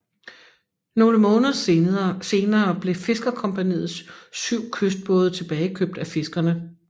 Nogle måneder senere blev Fiskercompagniets 7 kystbåde tilbagekøbt af fiskerne